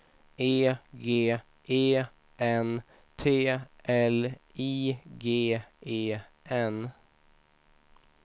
E G E N T L I G E N